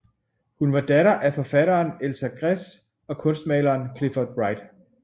Hun var datter af forfatteren Elsa Gress og kunstmaleren Clifford Wright